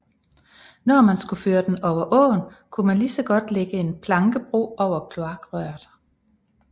Når man skulle føre den over åen kunne man ligeså godt lægge en plankebro over kloakrøret